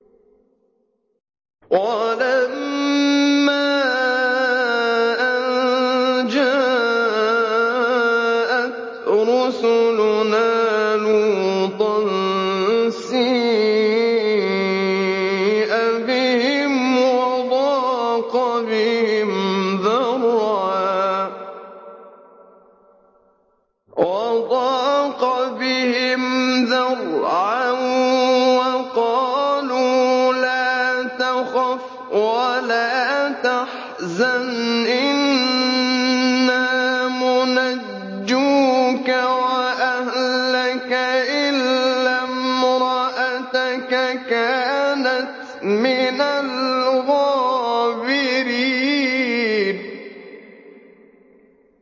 وَلَمَّا أَن جَاءَتْ رُسُلُنَا لُوطًا سِيءَ بِهِمْ وَضَاقَ بِهِمْ ذَرْعًا وَقَالُوا لَا تَخَفْ وَلَا تَحْزَنْ ۖ إِنَّا مُنَجُّوكَ وَأَهْلَكَ إِلَّا امْرَأَتَكَ كَانَتْ مِنَ الْغَابِرِينَ